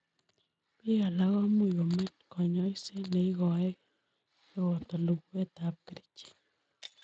Biik alak komuch komach konyoiset neikoekei nepoto luguetab kerichek.